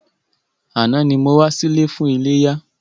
Àná ni mo wá sí ilé fún iléyá.